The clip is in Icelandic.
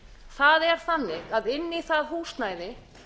það er þannig að inn í það húsnæði